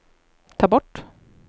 ta bort